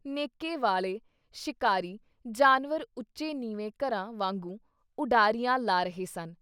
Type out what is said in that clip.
ਨੇਕ੍ਹੇ ਵਾਲੇ ਸ਼ਿਕਾਰੀ ਜਾਨਵਰ ਉੱਚੇ ਨੀਵੇਂ ਘਰਾਂ ਵਾਂਗੂੰ ਉਡਾਰੀਆਂ ਲਾ ਰਹੇ ਸਨ।